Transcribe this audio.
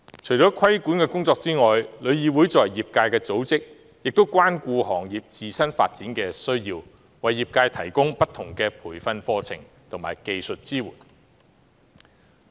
除規管的工作外，旅議會作為業界的組織，也關顧行業自身發展的需要，為業界提供不同的培訓課程及技術支援。